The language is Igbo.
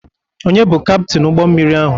Ònye bụ Kaptin ụgbọmmiri ahụ?